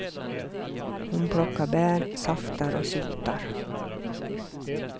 Hon plockar bär, saftar och syltar.